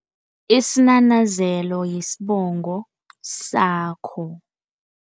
Isinanazelo yisibongo sakho.